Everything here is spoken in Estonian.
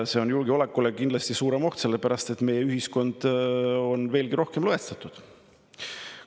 See on julgeolekule kindlasti suurem oht, sellepärast et meie ühiskond on veelgi rohkem lõhestatud.